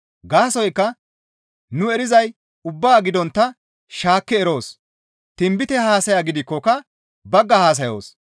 Gaasoykka nu erizay ubbaa gidontta shaakki eroos; tinbite haasaya gidikkoka bagga haasayoos.